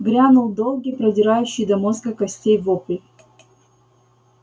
грянул долгий продирающий до мозга костей вопль